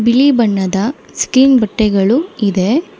ನೀಲಿ ಬಣ್ಣದ ಸ್ಕ್ರೀನ್ ಬಟ್ಟೆಗಳು ಇದೆ.